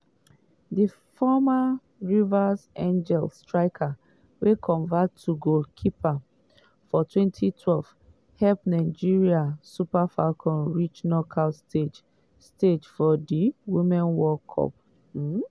di former rivers angels striker wey convert to goalkeeper for 2012 help nigeria super falcons reach knockout stage stage for di women's world cup. um